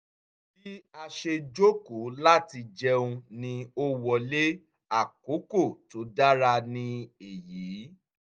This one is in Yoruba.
bí a ṣe jókòó láti jẹun ni o wọlé— àkókò tó dára ni èyí!